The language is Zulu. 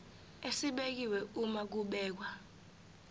esibekiwe uma kubhekwa